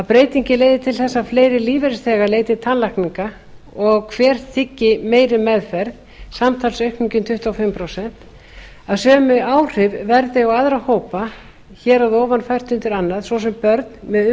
breytingin leiði til þess að fleiri lífeyrisþegar leiti til tannlækna og hver þiggi meiri meðferð samtals aukning um tuttugu og fimm prósent sjötta sömu áhrif verði á aðra hópa hér að ofan fært undir annað svo sem börn með